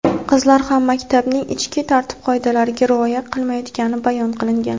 qizlar ham maktabning ichki tartib-qoidalariga rioya qilmayotgani bayon qilingan.